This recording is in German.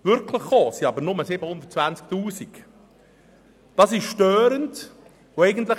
Wirklich ausbezahlt wurden lediglich 720 000 Franken.